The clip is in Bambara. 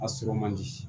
A sɔrɔ man di